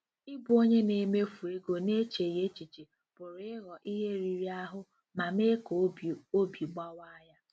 Ịbụ onye na-emefu ego n'echeghị echiche pụrụ ịghọ ihe riri ahụ ma mee ka obi obi gbawaa ya.